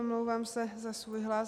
Omlouvám se za svůj hlas.